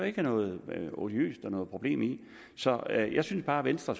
ikke noget odiøst i eller noget problem i så jeg synes bare at venstre